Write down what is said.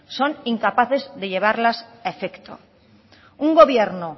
son incapaces de llevarlas a efecto un gobierno